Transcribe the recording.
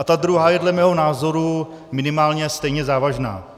A ta druhá je dle mého názoru minimálně stejně závažná.